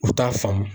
U t'a faamu